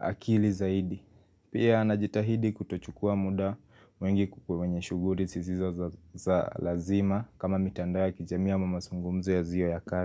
akili zaidi. Pia najitahidi kutochukua muda mwingi kwenye shughuli zisizo za lazima kama mitandao ya kijamii ama mazungumzo yasio ya kazi.